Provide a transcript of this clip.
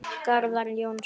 Garðar Jónsson